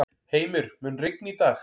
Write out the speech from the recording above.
Heimir, mun rigna í dag?